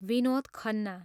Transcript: Vinod Khanna